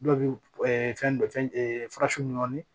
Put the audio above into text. Dɔw bɛ fɛn dɔ fɛn fara su nɔ